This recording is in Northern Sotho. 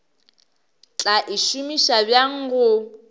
tla e šomiša bjang go